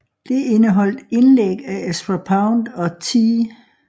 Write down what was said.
Det indeholdt indlæg af Ezra Pound og T